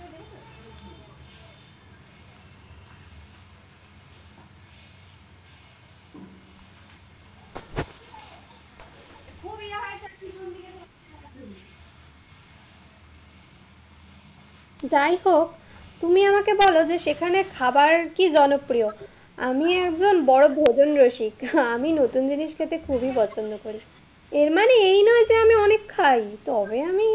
যাই হোক, তুমি আমাকে বলো যে সেখানে খাবার কি জনপ্রিয়? আমি একজন বড় ভোজনরসিক আমি নতুন জিনিস খেতে খুবই পছন্দ করি। এর মানে এই নয় যে আমি অনেক খাই, তবে আমি,